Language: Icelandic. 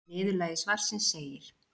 Í niðurlagi svarsins segir: